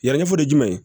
Yanni fo ye jumɛn ye